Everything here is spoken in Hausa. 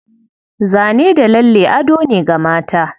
Zane da lalle ado ne ga mata.